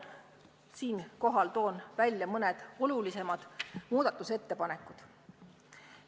Siinkohal toon välja mõned olulisemad muudatusettepanekud.